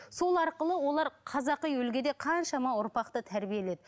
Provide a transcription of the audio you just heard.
сол арқылы олар қазақи үлгіде қаншама ұрпақты тәрбиеледі